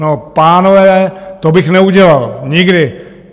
No, pánové, to bych neudělal nikdy.